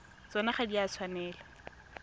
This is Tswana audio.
tsona ga di a tshwanela